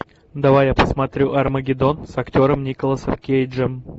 давай я посмотрю армагеддон с актером николасом кейджем